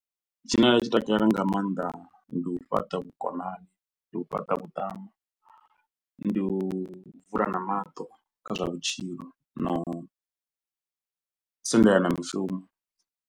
Tshine nda tshi takalela nga maanḓa ndi u fhaṱa vhukonani, ndi u fhaṱa vhuṱama, ndi u vulana maṱo kha zwa vhutshilo, na u sendelana mishumo.